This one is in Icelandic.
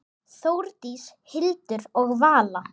Þórdís, Hildur og Vala.